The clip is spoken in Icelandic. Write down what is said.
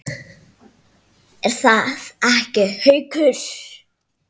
Er það ekki, Haukur?